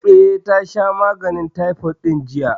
Eh, ta sha maganin taifot ɗin jiya